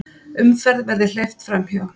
Umferð verði hleypt fram hjá.